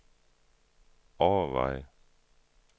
overveje